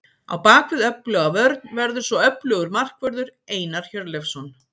Á bakvið öfluga vörn verður svo öflugur markvörður, Einar Hjörleifsson.